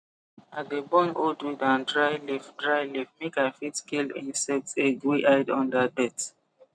i dey burn old weed and dry leaf dry leaf make i fit kill insect egg wey hide under dirt